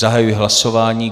Zahajuji hlasování.